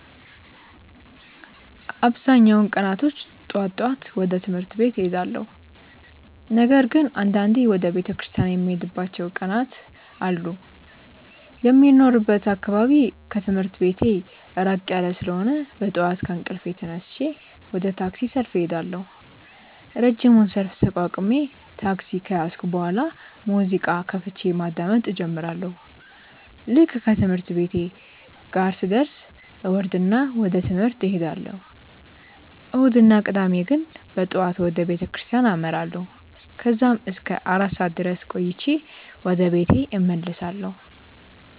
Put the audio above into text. አብዛኛውን ቀናቶች ጠዋት ጠዋት ወደ ትምህርት ቤት እሄዳለሁ። ነገር ግን አንዳንዴ ወደ ቤተክርስቲያን የምሄድባቸው ቀናት አሉ። የሚኖርበት አካባቢ ከትምህርት ቤቴ ራቅ ያለ ስለሆነ በጠዋት ከእንቅልፌ ተነስቼ ወደ ታክሲ ሰልፍ እሄዳለሁ። ረጅሙን ሰልፍ ተቋቁሜ ታክሲ ከያዝኩ በኋላ ሙዚቃ ከፍቼ ማዳመጥ እጀምራለሁ። ልክ ትምህርት ቤቴ ጋር ስደርስ እወርድና ወደ ትምህርት እሄዳለሁ። እሁድ እና ቅዳሜ ግን በጠዋት ወደ ቤተክርስቲያን አመራለሁ። ከዛም እስከ አራት ሰዓት ድረስ ቆይቼ ወደ ቤት እመለሳለሁ።